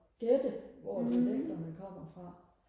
gætte hvor dialekterne kommer fra